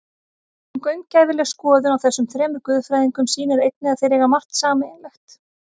En gaumgæfileg skoðun á þessum þremur guðfræðingum sýnir einnig að þeir eiga margt sameiginlegt.